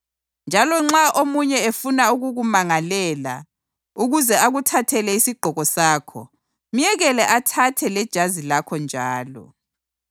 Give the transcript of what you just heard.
Njalo nxa omunye efuna ukukumangalela ukuze akuthathele isigqoko sakho, myekele athathe lejazi lakho njalo.